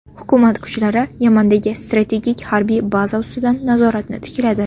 Hukumat kuchlari Yamandagi strategik harbiy baza ustidan nazoratni tikladi .